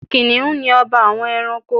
Kìnìhún ni ọba àwọn ẹranko